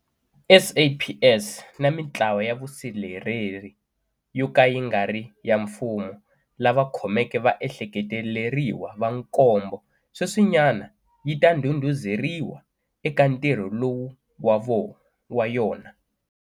SAPS na mitlawa ya vusirheleri yo ka yi nga ri ya mfumo lava khomeke vaehleketeleriwa va nkombo sweswinyana yi ta ndhundhuzeriwa eka ntirho lowu wa yona.